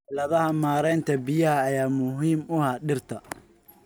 Xeeladaha maareynta biyaha ayaa muhiim u ah dhirta.